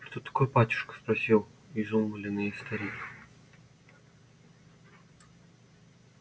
что такое батюшка спросил изумлённый старик